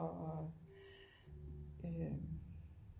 Og øh